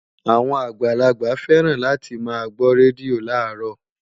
Àwọn àgbàlagbà féràn láti máa gbó rédíò láàárọ̀